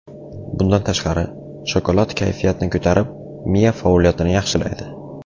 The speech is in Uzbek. Bundan tashqari, shokolad kayfiyatni ko‘tarib, miya faoliyatini yaxshilaydi.